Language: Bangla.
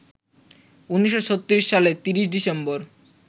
১৯৩৬ সালের ৩০ ডিসেম্বর